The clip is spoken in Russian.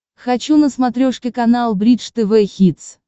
хочу на смотрешке канал бридж тв хитс